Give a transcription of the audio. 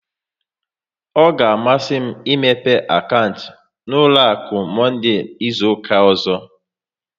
Ọ ga amasị m imepe akaụntụ n'ụlọ akụ, Monde izuka ọzọ